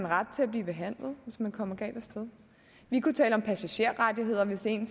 ret til at blive behandlet vi kunne tale om passagerrettigheder hvis ikke